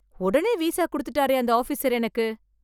உடனே விசா குடுத்துட்டாரே அந்த ஆபீசர் எனக்கு!